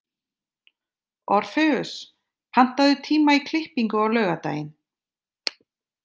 Orfeus, pantaðu tíma í klippingu á laugardaginn.